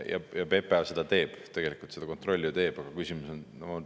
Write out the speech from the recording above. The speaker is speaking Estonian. PPA tegelikult seda kontrolli teeb, aga küsimus on …